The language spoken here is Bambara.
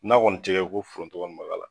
Na kɔni tigɛ ko foronto kɔni ma k'a la